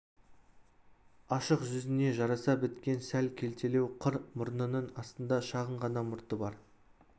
ашық жүзіне жараса біткен сәл келтелеу қыр мұрнының астында шағын ғана мұрты бар